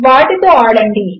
వాటితో ఆడండి